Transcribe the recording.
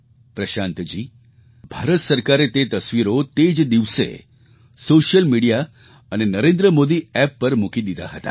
પ્રશાંતજી ભારત સરકારે તે તસવીરો તે જ દિવસે સૉશિયલ મિડિયા અને NarendraModiApp પર મૂકી દીધાં હતાં